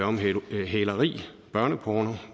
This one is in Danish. om hæleri hæleri børneporno